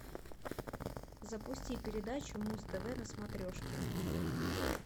запусти передачу муз тв на смотрешке